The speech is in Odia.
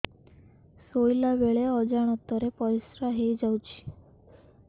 ଶୋଇଲା ବେଳେ ଅଜାଣତ ରେ ପରିସ୍ରା ହେଇଯାଉଛି